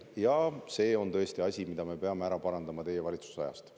Ja see on tõesti asi, mida me peame ära parandama teie valitsuse ajast.